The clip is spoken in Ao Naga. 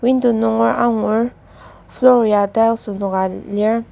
window nunger angur floor ya tiles enoka lir.